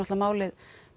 málið